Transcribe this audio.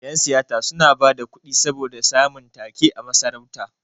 Yan siyasa suna bada kuɗi saboda samun ta-ke a masarauta.